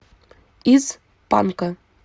из панка